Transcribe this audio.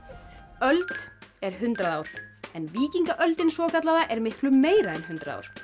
öld er hundrað ár en víkingaöldin svokallaða er miklu meira en hundrað ár